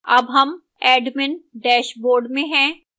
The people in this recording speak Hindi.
अब हम admin dashboard में हैं